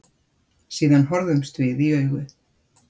Síðan horfðumst við í augu.